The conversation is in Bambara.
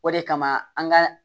O de kama an ka